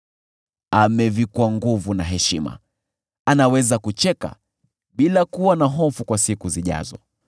Amevikwa nguvu na heshima, anaweza kucheka bila kuwa na hofu kwa siku zijazo.